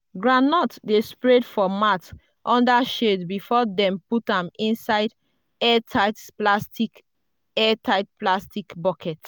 groundnut dey spread for mat under shade before dem put am inside airtight plastic airtight plastic bucket.